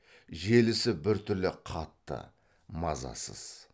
желісі бір түрлі қатты мазасыз